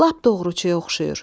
Lap doğruçuya oxşuyur.